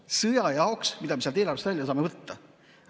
me sõja jaoks sealt eelarvest välja saame võtta?